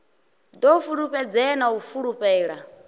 ḓo fulufhedzea na u fulufhela